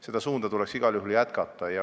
Seda suunda tuleks igal juhul jätkata.